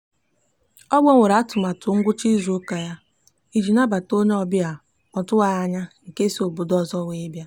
ọ gbanwere atụmatụ ngwụcha izuụka ya iji nabata onye obịa ọ tụwaghị anya nke si obodo ọzọ wee bịa.